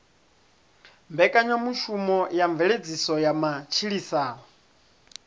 mbekanyamushumo dza mveledziso ya matshilisano